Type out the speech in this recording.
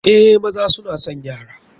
Eh, maza suna son yara.